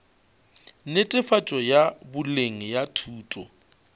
netefatšo ya boleng ya thuto